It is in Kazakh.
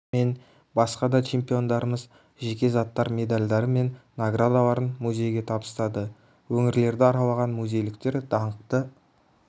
мен басқа да чемпиондарымыз жеке заттары медальдары мен наградаларын музейге табыстады өңірлерді аралаған музейліктер даңқты